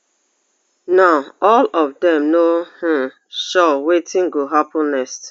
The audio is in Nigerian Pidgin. now all of dem no um sure wetin go happun next